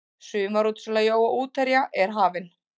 Sumarútsala jóa útherja er hafin.